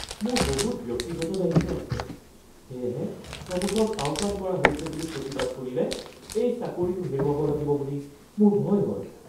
মোৰ বহুত ব্যক্তিগত দায়িত্ব আছে সেয়েহে প্ৰমোশ্যন আওকাণ কৰা হৈছে বুলি প্ৰতিবাদ কৰিলে এই চাকৰিটো হেৰুৱাব লাগিব বুলি মোৰ ভয় হয়। (কৰ্মচাৰী ২)